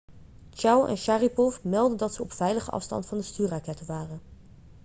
chiao en sharipov meldden dat ze op veilige afstand van de stuurrakketten waren